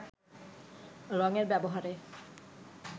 রঙের ব্যবহারে